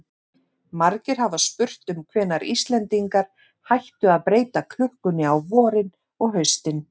Margir hafa spurt um hvenær Íslendingar hættu að breyta klukkunni á vorin og haustin.